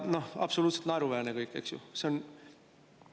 No absoluutselt naeruväärne kõik, eks ju!